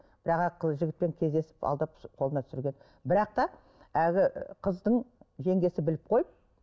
бірақ жігітпен кездесіп алдап қолына түсірген бірақ та әлгі қыздың жеңгесі біліп қойып